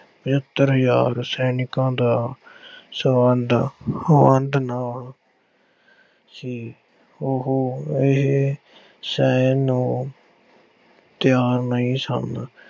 ਪਝੱਤਰ ਹਜ਼ਾਰ ਸੈਨਿਕਾਂ ਦਾ ਸਬੰਧ ਵੰਡ ਨਾਲ ਸੀ। ਉਹ ਇਹ ਸਹਿਣ ਨੂੰ ਤਿਆਰ ਨਹੀਂ ਸਨ।